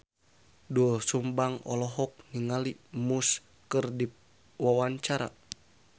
Doel Sumbang olohok ningali Muse keur diwawancara